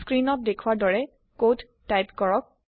screen ত দেখুৱাৰ দৰে কোড টাইপ কৰক